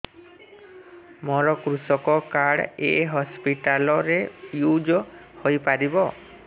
ମୋର କୃଷକ କାର୍ଡ ଏ ହସପିଟାଲ ରେ ୟୁଜ଼ ହୋଇପାରିବ